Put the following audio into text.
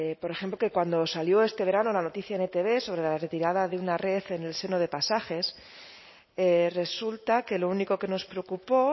por ejemplo que cuando salió este verano la noticia en etb sobre la retirada de una red en el seno de pasajes resulta que lo único que nos preocupó